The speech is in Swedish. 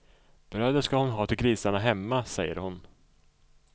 Brödet ska hon ha till grisarna hemma, säger hon.